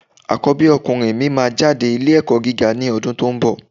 Àkọ́bí ọkùnrin mi máa jáde ilé ẹ̀kọ́ gíga ní ọdún tó ń bọ̀.